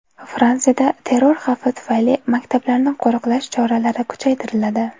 Fransiyada terror xavfi tufayli maktablarni qo‘riqlash choralari kuchaytiriladi.